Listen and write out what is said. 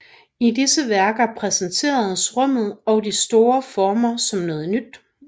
I disse værker præsenteres rummet og de store former som noget nyt